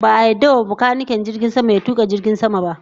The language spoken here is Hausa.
Ba a yarda wa makanikin jirgin sama ya tuka jirgin sama ba